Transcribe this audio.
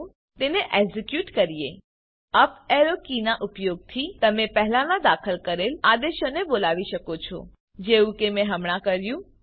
ચાલો તેને એક્ઝીક્યુટ કરીએ અપ એરો કીનાં ઉપયોગથી તમે પહેલાનાં દાખલ કરેલ આદેશોને બોલાવી શકો છો જેવું કે મેં હમણાં કર્યું